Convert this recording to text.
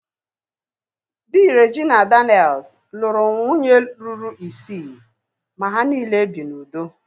Dị Regina Daniel's lụrụ nwunye ruru isii ma ha niile bi n'udo